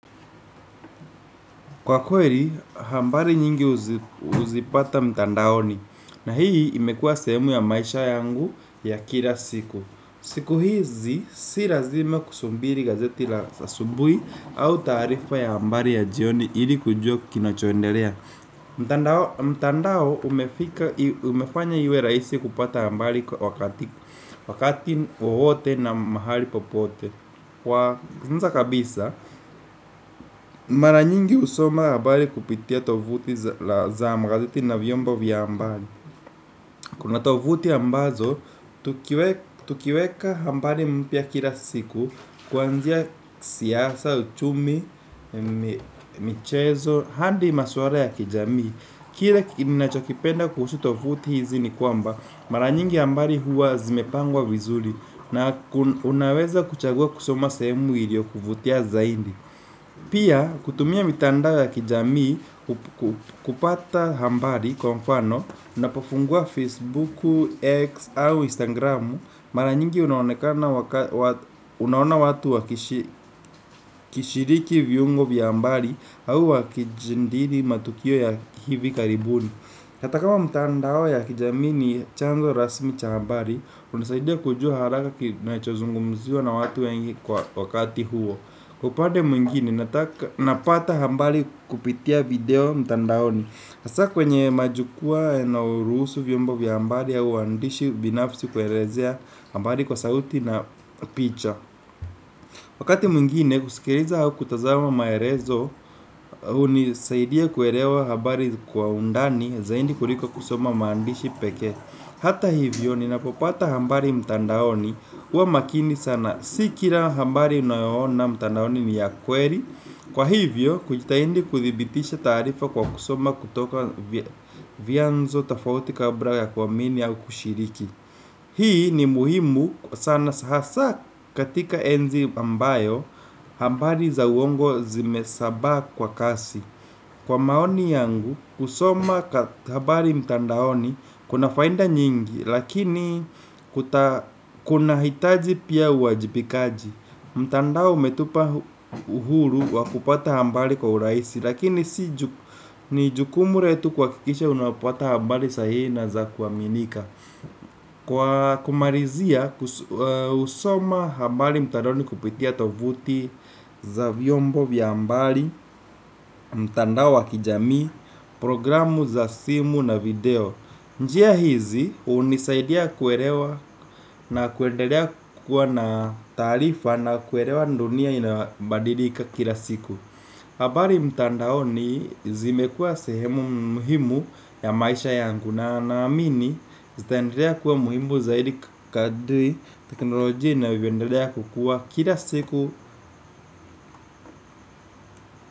Kwa kweli, habari nyingi huzipata mtandaoni, na hii imekuwa sehemu ya maisha yangu ya kila siku. Siku hizi, si lazima kusubiri gazeti la asubuhi au taarifa ya habari ya jioni ili kujua kinochoendelea. Mtandao umefanya iwe rahisi kupata habari wakati, wakati, wowote na mahali popote. Kwa anza kabisa, mara nyingi husoma habari kupitia tovuti za magazeti na vyombo vya habari. Kuna tovuti ambazo, tukiweka habari mpya kila siku kuanzia siasa, uchumi, michezo, hadi maswara ya kijamii kile ninachokipenda kuhusu tovuti hizi ni kwamba mara nyingi habari huwa zimepangwa vizuri. Na unaweza kuchagua kusoma sehemu iliyokuvutia zaidi. Pia kutumia mitandao ya kijamii kupata habari kwa mfano unapofungua Facebooku, X au Instagramu Mara nyingi unaoneka unaona watu wakishiriki viungo vya habari. Au wakijandili matukio ya hivi karibuni. Hata kama mitandao ya kijamii ni chanzo rasmi cha habari. Unasaidia kujua haraka kinachozungumziwa na watu wengi kwa wakati huo. Kwa upade mwingine, napata habari kupitia video mtandaoni hasa kwenye majukua yanayo ruhusu vyombo vya habari au uandishi binafsi kuelezea habari kwa sauti na picha. Wakati mwingine, kusikiliza au kutazama maelezo hunisaidia kuelewa habari kwa undani zaidi kuliko kusoma maandishi pekee. Hata hivyo ninapopata habari mtandaoni huwa makini sana si kila habari unayoona mtandaoni ni ya kweli. Kwa hivyo kujitahindi kuthibitisha taarifa kwa kusoma kutoka vianzo tofauti kabla ya kuamini au kushiriki. Hii ni muhimu sana hasa katika enzi ambayo habari za uongo zimesabaa kwa kasi. Kwa maoni yangu, kusoma habari mtandaoni kuna faida nyingi, lakini kunahitaji pia uajibikaji. Mtandao umetupa uhuru wa kupata habari kwa urahisi, lakini ni jukumu letu kuhakikisha unapata habari sahihi na za kuaminika. Kwa kumalizia jusoma habari mtandaoni kupitia tovuti za vyombo vya habari, mtandao wakijamii, programu za simu na video. Njia hizi hunisaidia kuelewa na kuendelea kukua na taarifa na kuelewa dunia inabadilika kila siku. Habari mtandaoni zimekuwa sehemu muhimu ya maisha yangu na naamini zitandelea kuwa muhimu zaidi kadri teknoloji inavyioendelea kukua kila siku.